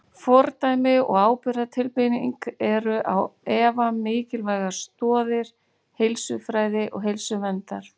Fordæmi og ábyrgðartilfinning eru á efa mikilvægar stoðir heilsufræði og heilsuverndar.